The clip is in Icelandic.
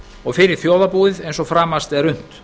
og fyrir þjóðarbúið eins og framast er unnt